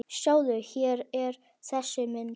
Sjáðu, hér er þessi mynd.